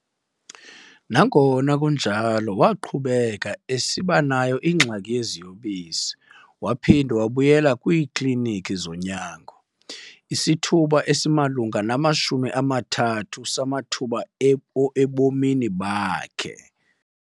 Nangona kunjalo, waqhubeka esiba nayo ingxaki yeziyobisi waphinda wabuyela kwiiKliniki zonyango. isithuba esimalunga nama-30 samathuba ebomini bakhe.